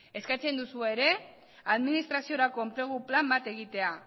eskatzen duzu ere administraziorako enplegu plan bat egitea